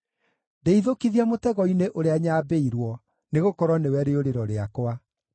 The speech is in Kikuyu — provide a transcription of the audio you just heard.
Ndeithũkithia mũtego-inĩ ũrĩa nyambĩirwo, nĩgũkorwo nĩwe rĩũrĩro rĩakwa.